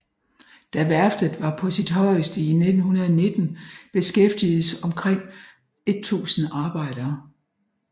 Da værftet var på sit højeste i 1919 beskæftiges omkring 1000 arbejdere